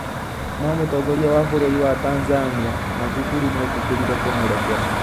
No mũtongoria wa bũrũri wa Tanzania, Magufuli nĩ eetĩkĩrire kũmũrekera.